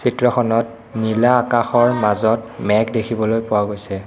চিত্ৰখনত নীলা আকাশৰ মাজত মেঘ দেখিবলৈ পোৱা গৈছে।